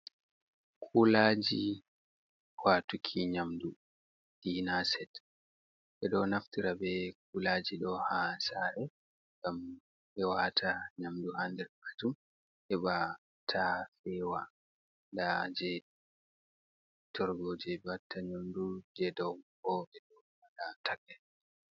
Kulaji watuki nyamdu dina set. Ɓeɗo naftira be kulaji ɗo ha sare ɗum ɓe wata nyamdu ha nder majum heɓa ta fewa. Nda je torgo je ɓe watta nyamdu, je ɗo bo ɓeɗo waɗa takai.